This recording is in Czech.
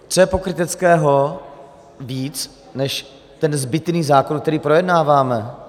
Co je pokryteckého víc než ten zbytný zákon, který projednáváme?